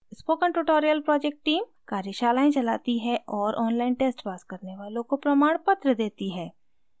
spoken tutorial project team कार्यशालाएं चलाती है और online test pass करने वालों को प्रमाणपत्र देती है